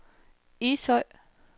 Ishøj